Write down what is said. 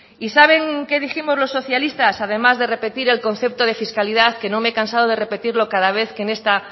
y saben qué dijimos los socialistas además de repetir el concepto de fiscalidad que no me he cansado de repetirlo cada vez que esta